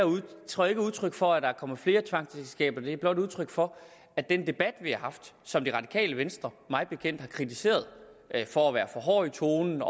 udtryk udtryk for at der er kommet flere tvangsægteskaber det er blot udtryk for at den debat vi har haft som det radikale venstre mig bekendt har kritiseret for at være for hård i tonen